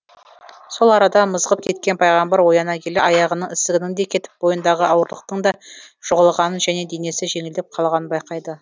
сол арада мызғып кеткен пайғамбар ояна келе аяғының ісігінің де кетіп бойындағы ауырлықтың да жоғалғанын және денесі жеңілдеп қалғанын байқайды